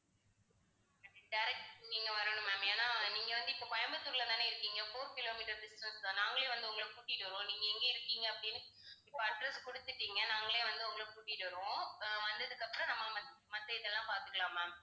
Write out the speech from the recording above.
direct நீங்க வரணும் ma'am ஏன்னா நீங்க வந்து இப்ப கோயம்புத்தூர்லதானே இருக்கீங்க four kilometers distance தான். நாங்களே வந்து உங்களைக் கூட்டிட்டு வருவோம். நீங்க எங்க இருக்கீங்க அப்படின்னு இப்ப address கொடுத்துட்டீங்க நாங்களே வந்து உங்களைக் கூட்டிட்டு வருவோம் அஹ் வந்ததுக்கு அப்புறம் நம்ம மத்~ மத்த இதெல்லாம் பார்த்துக்கலாம் ma'am